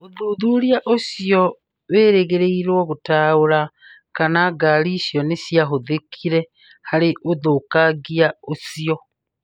ũthuthuria ũcio wĩrĩgĩrĩirwo gũtaũra kana ngari icio nĩciahũthĩkire harĩ ũthũkangia ũcio.